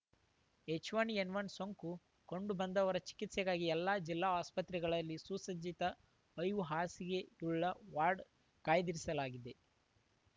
H1 N one ಸೋಂಕು ಕಂಡುಬಂದವರ ಚಿಕಿತ್ಸೆಗಾಗಿ ಎಲ್ಲ ಜಿಲ್ಲಾ ಆಸ್ಪತ್ರೆಗಳಲ್ಲಿ ಸುಸಜ್ಜಿತ ಐದು ಹಾಸಿಗೆಯುಳ್ಳ ವಾರ್ಡ್‌ ಕಾಯ್ದಿರಿಸಲಾಗಿದೆ